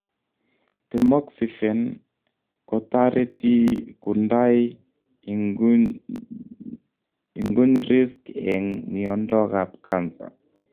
Temoxifen kotareti kundai ingunyrisks eng mnyondo ap cancer